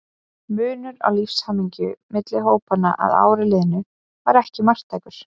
Munur á lífshamingju milli hópanna að ári liðnu var ekki marktækur.